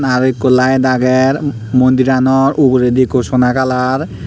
arow ekko laet aager mondiranor uguredi ekko sona kalar.